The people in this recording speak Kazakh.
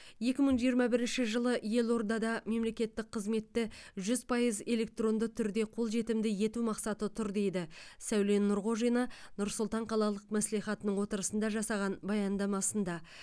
екі мың жиырма бірінші жылы елордада мемлекеттік қызметті жүз пайыз электронды түрде қолжетімді ету мақсаты тұр дейді сәуле нұрғожина нұр сұлтан қалалық мәслихатының отырысында жасаған баяндамасында